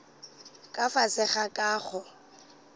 ka fase ga ka go